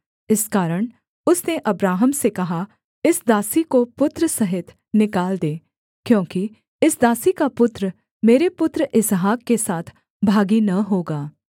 इस कारण उसने अब्राहम से कहा इस दासी को पुत्र सहित निकाल दे क्योंकि इस दासी का पुत्र मेरे पुत्र इसहाक के साथ भागी न होगा